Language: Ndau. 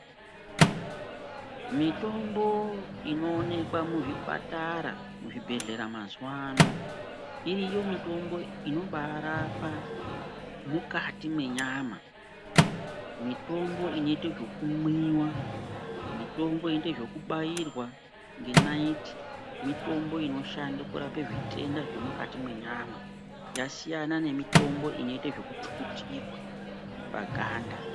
Mitombo inoonekwa muzvipatara, muzvibhedhlera mazuvano, iriyo mitombo inobarapa mukati mwenyama. Mitombo inoite zvekumwiwa, mitombo inoite zvekubairwa ngenayiti, mitombo inoshanda kurape zvitenda zviri mwukati mwenyama. Yasiyana nemitombo inoita zvekuchukutirwa paganda.